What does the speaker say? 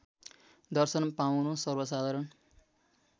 दर्शन पाउनु सर्वसाधारण